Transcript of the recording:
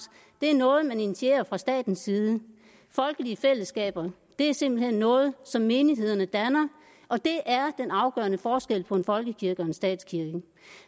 er noget man initierer fra statens side folkelige fællesskaber er simpelt hen noget som menighederne danner og det er den afgørende forskel på en folkekirke og en statskirke